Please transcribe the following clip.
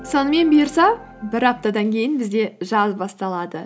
сонымен бұйырса бір аптадан кейін бізде жаз басталады